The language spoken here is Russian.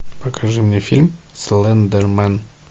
покажи мне фильм слендермен